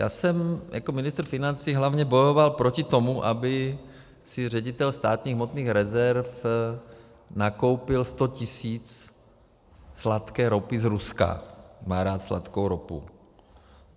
Já jsem jako ministr financí hlavně bojoval proti tomu, aby si ředitel Státních hmotných rezerv nakoupil 100 tisíc sladké ropy z Ruska, má rád sladkou ropu.